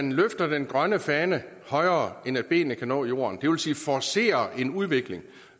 man løfter den grønne fane højere end benene kan nå jorden det vil sige forcerer en udvikling